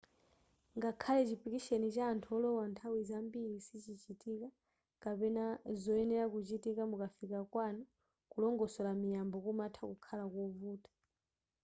ngakhale chipikisheni cha anthu olowa nthawi zambiri sichichitika kapena zoyenera kuchitika mukafika kwanu kulongosora miyambo kumatha kukhala kovuta